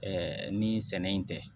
Ɛɛ ni sɛnɛ in tɛ